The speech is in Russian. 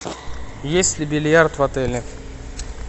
есть ли бильярд в отеле